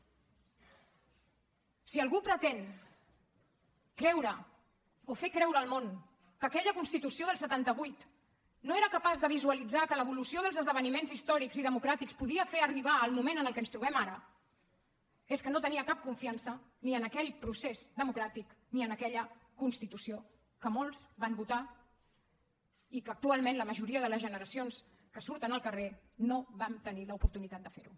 si algú pretén creure o fer creure al món que aquella constitució del setanta vuit no era capaç de visualitzar que l’evolució dels esdeveniments històrics i democràtics podia fer arribar el moment en el qual ens trobem ara és que no tenia cap confiança ni en aquell procés democràtic ni en aquella constitució que molts van votar i que actualment la majoria de les generacions que surten al carrer no vam tenir l’oportunitat de ferho